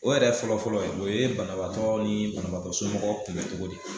O yɛrɛ fɔlɔfɔlɔ ye o ye banabagatɔ ni banabagatɔ somɔgɔw kumɛ cogo di.